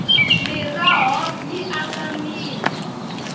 miroho yi aka mirhi